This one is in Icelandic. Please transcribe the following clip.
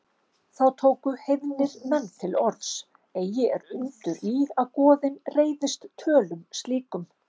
Þá tóku heiðnir menn til orðs: Eigi er undur í, að goðin reiðist tölum slíkum